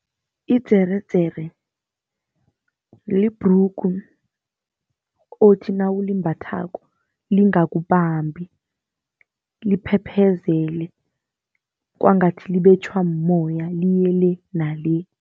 Idzeredzere libhrugu othi nawulimbathako lingakubambi, liphephezele kwangathi libetjhwa mumoya, liye le nale.